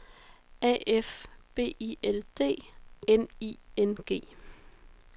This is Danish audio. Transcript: A F B I L D N I N G